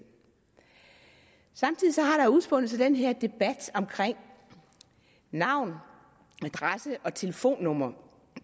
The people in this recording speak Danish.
samtidig har der udspundet sig den her debat om navn adresse og telefonnummer